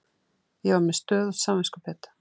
Ég var með stöðugt samviskubit.